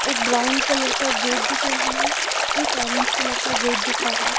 एक brown colour का gate दिख रहा है एक ऑरेंज कलर का गेट दिख रहा है।